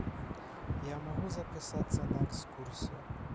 я могу записаться на экскурсию